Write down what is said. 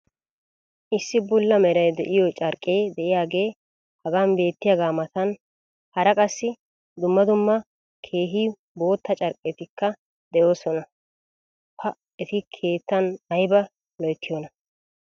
Issi bulla meray de'iyo carqqee diyaagee hagan beetiyaagaa matan hara qassi dumma dumma keehi bootta carqqettikka de'oosona. pa eti keettan aybba loyttiyoonaa!